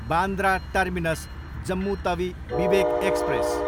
Bandra terminus, Jammu Tawi Vivek express